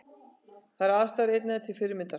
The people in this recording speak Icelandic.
Þar eru aðstæður einnig til fyrirmyndar